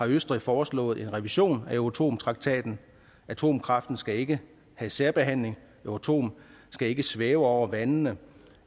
østrig foreslået en revision af euratom traktaten atomkraften skal ikke have særbehandling euratom skal ikke svæve over vandene